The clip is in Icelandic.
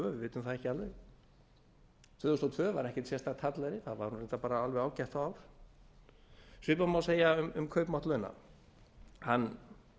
vitum það ekki alveg tvö þúsund og tvö var ekkert sérstakt hallæri það var reyndar alveg ágætt ár svipað má segja um kaupmátt launa hann